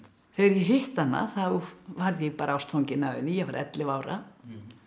þegar ég hitti hana þá varð ég bara ástfangin af henni ég var ellefu ára